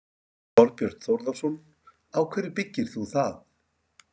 Þorbjörn Þórðarson: Á hverju byggir þú það?